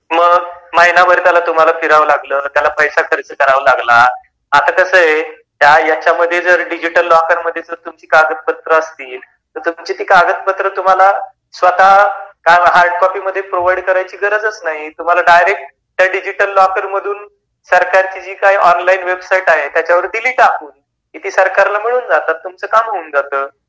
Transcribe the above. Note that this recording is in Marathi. मग महीनाभर तुम्हाला फिराव लागल, त्याला पैसा खर्च करावा लागला, आता कस आहे यांच्यामध्ये जर डिजिटल लॉकर मध्ये जर कागदपत्र असतील तर तुमची ती कागदपत्र तुम्हाला स्वत हार्ड कॉपी मध्ये प्रोवाइड करायची गरजच नाही.तुम्हाला डायरेक्ट त्या डिजिटल लॉकर मधून सरकारची जी काही ऑनलाइन वेबसाइट आहेत्याच्यावर दिली टाकून की ती सरकारला मिळून जातात आणि तुमच काम होऊन जात.